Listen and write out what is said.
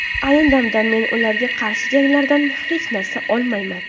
Ayni damda men ularga qarshi janglardan hech narsa olmayman.